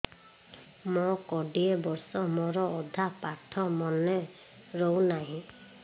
ମୋ କୋଡ଼ିଏ ବର୍ଷ ମୋର ଅଧା ପାଠ ମନେ ରହୁନାହିଁ